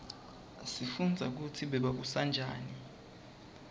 sifundza kutsi bebabusa njani